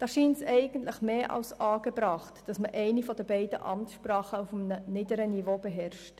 Da scheint es mehr als angebracht, dass man eine der beiden Amtssprachen auf einem niedrigen Niveau beherrscht.